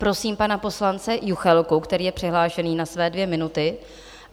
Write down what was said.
Prosím pana poslance Juchelku, který je přihlášený na své dvě minuty.